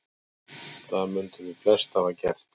Það mundum við flest hafa gert.